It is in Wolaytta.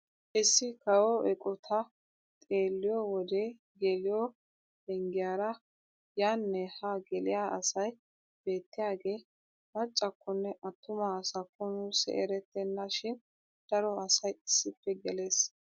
Issi kawo eqotaa xeelliyoo wode geliyoo penggiyaara yaanne haa geliyaa asay beettiyaagee maccakonne attuma asakko nuusi erettena shin daro asay issippe gelees.